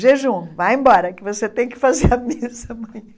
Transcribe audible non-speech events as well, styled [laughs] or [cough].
jejum, vai embora que você tem que fazer [laughs] a missa amanhã.